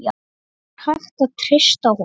Er hægt að treysta honum?